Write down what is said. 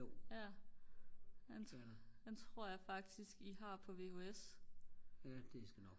ja den tror jeg faktisk I har på VHS